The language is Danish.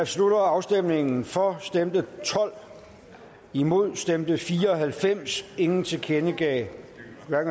slutter afstemningen for stemte tolv imod stemte fire og halvfems ingen tilkendegav at